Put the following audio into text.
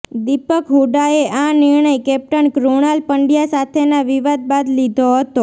દિપક હૂડાએ આ નિર્ણય કેપ્ટન કૃણાલ પંડ્યા સાથેના વિવાદ બાદ લીધો હતો